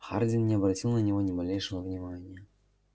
хардин не обратил на него ни малейшего внимания